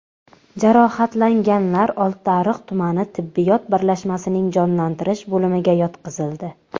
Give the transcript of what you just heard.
Jarohatlanganlar Oltiariq tumani tibbiyot birlashmasining jonlantirish bo‘limiga yotqizildi.